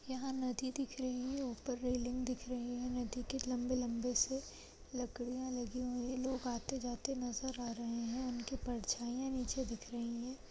यहाँ नदी दिख रही है। ऊपर रेलिंग दिख रहे हैं। नदी के लम्बे-लम्बे से लकड़ियां लगी हुई हैं। लोग आते जाते नज़र आ रहे हैं। उनकी परछाइयाँ नीचे दिख रहीं हैं।